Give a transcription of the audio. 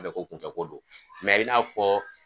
ko kunfɛ ko don mɛ i n'a fɔ